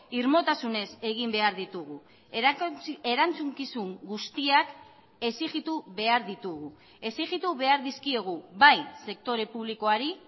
irmotasunez egin behar ditugu erantzukizun guztiak exijitu behar ditugu exijitu behar dizkiegu bai sektore publikoari